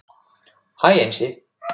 Hæ Einsi